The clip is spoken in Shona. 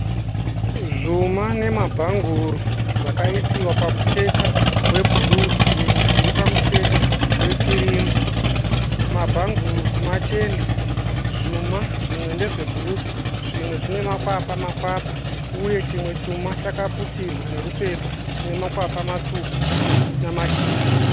Zvuma nemabhanguru zvakaisiwa pamucheka webhuruu zvimwe zviri pamucheka wekirimu. Mabhanguru machena, zvuma zvimwe ndezvebhuruu zvimwe zvinemakwapa-makwapa uye chimwe chuma chakaputirwa nerupepa chinemakwapa matsvuku namachena.